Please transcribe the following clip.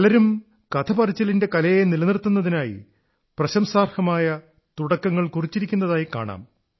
പലരും കഥപറച്ചിലിന്റെ കലയെ നിലനിർത്തുന്നതിനായി പ്രശംസാർഹമായ തുടക്കങ്ങൾ കുറിച്ചിരിക്കുന്നതായി കാണാം